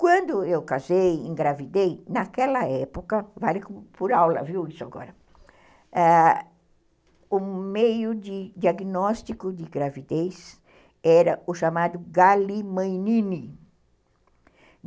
Quando eu casei, engravidei, naquela época, vale por aula, viu, isso agora, ãh, o meio de diagnóstico de gravidez era o chamado galimanine.